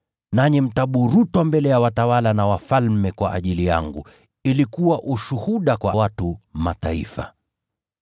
Nanyi mtaburutwa mbele ya watawala na wafalme kwa ajili yangu, ili kuwa ushuhuda kwao na kwa watu wa Mataifa.